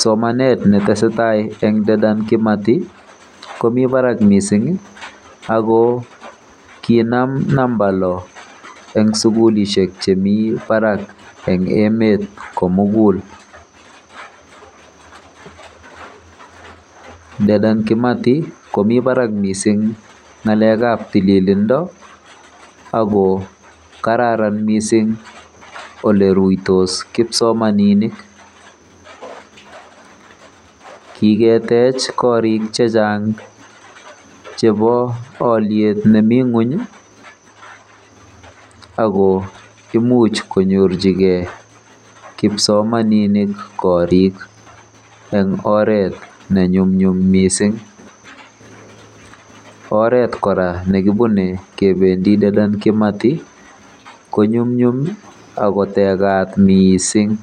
Somanet netesetai eng Dedan Kimathi komi barak mising ako kinam namba lo eng sukulishek chemi barak eng emet komugul. Dedan Kimathi komi barak mising ng'alekab tililindo ako kararan mising oleruitos kipsomaninik. Kiketech korik chechang chebo oliet nemi ng'ony ako imuch konyorchigei kipsomaninik korik eng oret nenyumnyum mising. Oret kora nekibune kebendi Dedan Kimathi konyumnyum akotekat mising.